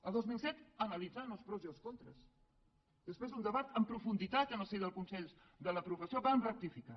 el dos mil set analitzant els pros i els contres després d’un debat en profunditat en el si dels consells de la professió vam rectificar